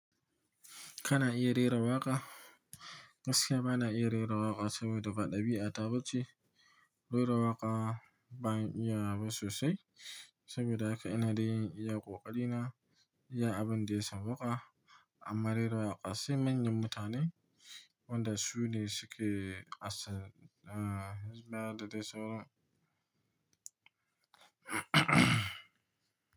Kana iya rera waƙa? Gaskiya bana iya rera waƙa saboda ba ɗabi'ata ba ce. Rera waƙa ban iya ba sosai saboda haka ina dai iya ƙoƙari na, iya abin da ya sawwaƙa. Amma rera waƙa sai manyan mutane, wanda su ne suke asar, eh, baya da dai saura.